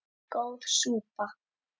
Góð súpa